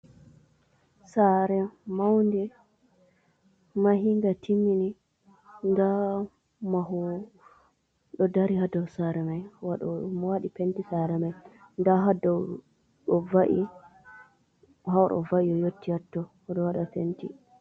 Saare maunde, mahiinga, timmini ndaa mahoowo ɗo dari ha dow saree mo waɗi penti saree mai. Ndaa ha dow o va’i ha va'i ɗo waɗa penti.